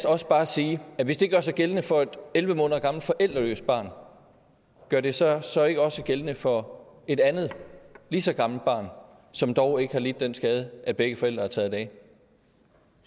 også bare sige at hvis det gør sig gældende for et elleve måneder gammelt forældreløst barn gør det sig så ikke også gældende for et andet lige så gammelt barn som dog ikke har lidt den skade at begge forældre er taget af